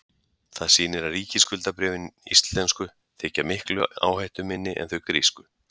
það sýnir að ríkisskuldabréfin íslensku þykja miklu áhættuminni en þau grísku